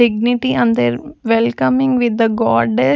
Dignity and their welcoming with the Godde --